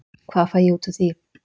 Hvað fæ ég út úr því?